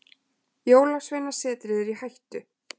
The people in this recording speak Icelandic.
Jólasveinasetrið er í hættu.